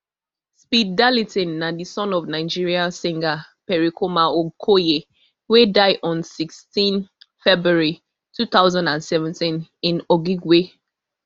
speed darlington na di son of nigeria singer pericoma okoye wey die on sixteen february two thousand and seventeen in okigwe